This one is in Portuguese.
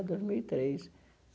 Dois mil e três.